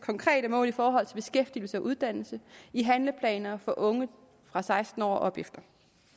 konkrete mål i forhold til beskæftigelse og uddannelse i handleplaner for unge fra seksten år og opefter